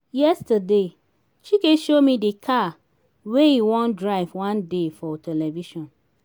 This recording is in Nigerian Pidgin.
yesterday chike show me the car wey e wan drive one day for television